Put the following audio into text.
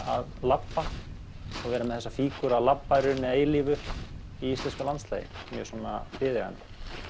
að labba vera með þessa fíguru að labba að eilífu í íslensku landslagi mjög svona viðeigandi